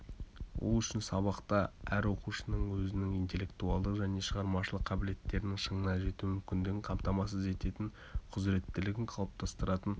ол үшін сабақта әр оқушының өзінің интеллектуалдық және шығармашылық қабілеттерінің шыңына жету мүмкіндігін қамтамасыз ететін құзыреттілігін қалыптастыратын